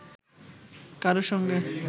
কারো সঙ্গে